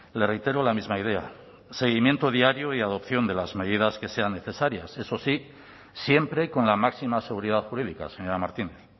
le reitero la misma idea seguimiento diario y adopción de las medidas que sean necesarias eso sí siempre con la máxima seguridad jurídica señora martínez